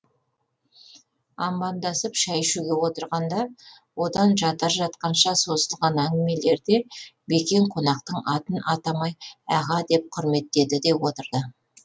амандасып шай ішуге отырғанда одан жатар жатқанша созылған әңгімелерде бекең қонақтың атын атамай аға деп құрметтеді де отырды